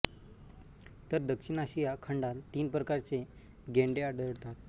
तर दक्षिण आशिया खंडात तीन प्रकारचे गेंडे आढळतात